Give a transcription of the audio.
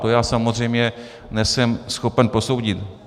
To já samozřejmě nejsem schopen posoudit.